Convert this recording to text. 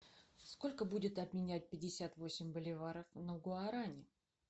сколько будет обменять пятьдесят восемь боливаров на гуарани